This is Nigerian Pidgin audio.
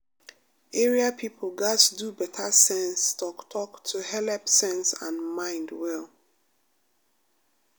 area people gats do better sense talk-talk to helep sense and mind well.